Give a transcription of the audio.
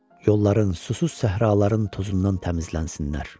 Yolların susuz səhraların tozundan təmizlənsinlər.